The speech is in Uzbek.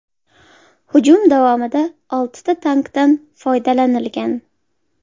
Hujum davomida oltita tankdan foydalanilgan.